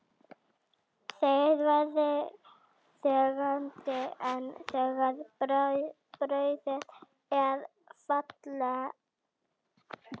Þeir veiða þegjandi en þegar bráðin er fallin er algengt að þeir taki að spangóla.